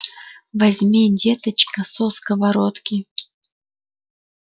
возьми деточка со сковородки